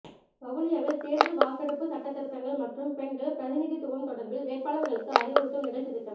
வவுனியாவில் தேர்தல் வாக்கெடுப்பு சட்ட திருத்தங்கள் மற்றும் பெண்கள் பிரதிநிதித்துவம் தொடர்பில் வேட்பாளர்களுக்கு அறிவுறுத்தும் நிகழ்ச்சித்திட்டம்